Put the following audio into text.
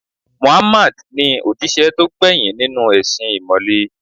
Muhammad ni òjíṣẹ́ tó gbẹ̀yìn nínú u ẹ̀sìn ìmọ̀le